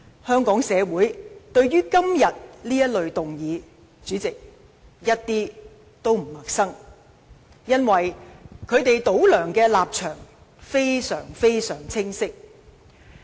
香港社會對於今天這類議案一點都不陌生，因為反對派"倒梁"的立場非常清晰。